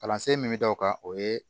Kalansen min bɛ da o kan o ye